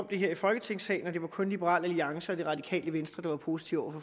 det her i folketingssalen og det var kun liberal alliance og det radikale venstre der var positive